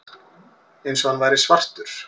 Eins og hann væri svartur.